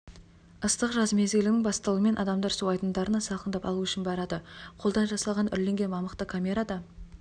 ыстық жаз мезгілінің бастылуымен адамдар су айдындарына салқындап алу үшін барады қолдан жасалған үрленген мамықта камерада